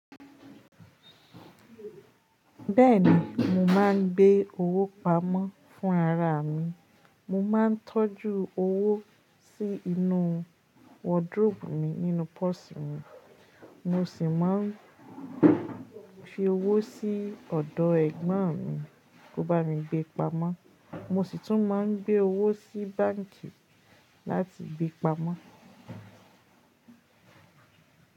Bẹ́ẹ̀ni, mo máa ń gbé owó pamọ́ fún ara mi. Mo máa ń tọ́jú owó sí inú wardrobe mi nínú pọ́ọ̀sì mi, mo sì máa ń fi owó sí ọ̀dọ̀ ẹ̀gbọ́n mi kó bá mi gbé pamọ́, mo sì tún máa ń gbé owó sí báǹkì láti gbé pamọ́